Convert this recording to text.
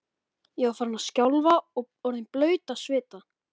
Ég var farin að skjálfa og orðin blaut af svita.